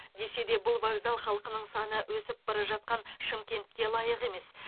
десе де бұл вокзал халқының саны өсіп бара жатқан шымкентке лайық емес